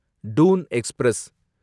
Doon express